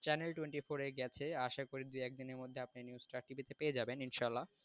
channel twenty-four এ গেছে আশা করি আপনার দু এক দিনের মধ্যে আপনি news টা TV তে পেয়ে যাবেন ইনশাল্লাহ,